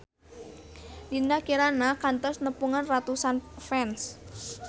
Dinda Kirana kantos nepungan ratusan fans